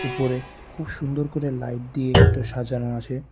উপরে খুব সুন্দর করে লাইট দিয়ে এটো সাজানো আছে।